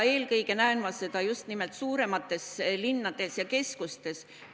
Eelkõige näen ma seda just nimelt suuremates linnades ja keskustes.